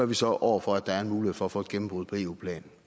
vi så over for at der er en mulighed for at få et gennembrud på eu plan